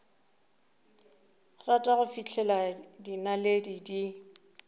rata go fihlela dinaledi di